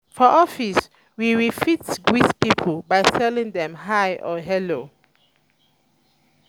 for office we we fit greet pipo by telling dem hi or hello